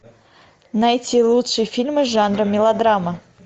найти лучшие фильмы жанра мелодрама